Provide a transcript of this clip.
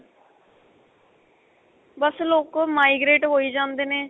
ਬੱਸ ਲੋਕ ਉਹ migrate ਹੋਈ ਜਾਂਦੇ ਨੇ